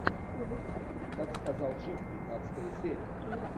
так сказал джим пятнадцатая серия